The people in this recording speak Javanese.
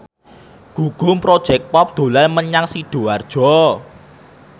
Gugum Project Pop dolan menyang Sidoarjo